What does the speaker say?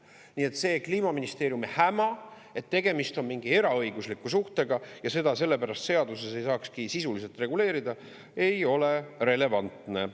Nii et see Kliimaministeeriumi häma, et tegemist on mingi eraõigusliku suhtega ja seda sellepärast seaduses ei saakski sisuliselt reguleerida, ei ole relevantne.